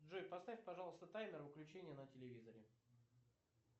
джой поставь пожалуйста таймер выключения на телевизоре